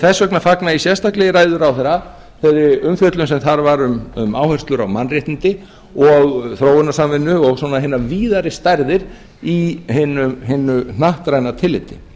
þess vegna fagna ég sérstaklega í ræðu ráðherra þeirri umfjöllun sem þar var um áherslur á mannréttindi og þróunarsamvinnu og svona hina víðari stærðir í hinu hnattræna tilliti